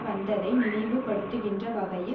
வந்ததை நினைவு படுத்துகின்ற வகையில்